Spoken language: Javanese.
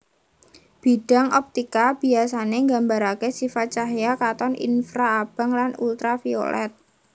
Bidang optika biasané nggambaraké sifat cahya katon infraabang lan ultraviolet